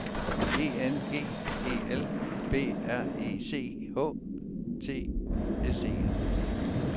E N G E L B R E C H T S E N